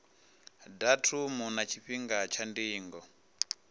datumu na tshifhinga tsha ndingo